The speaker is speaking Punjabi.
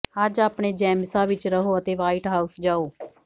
ਅੱਜ ਆਪਣੇ ਜੈਮਿਸਾਂ ਵਿਚ ਰਹੋ ਅਤੇ ਵ੍ਹਾਈਟ ਹਾਊਸ ਜਾਓ